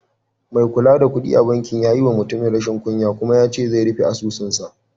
Mai kula da kuɗi a bankin ya yi wa mutumin rashin kunya kuma yace zai rufe asusun sa.